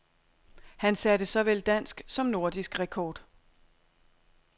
Han satte såvel dansk som nordisk rekord.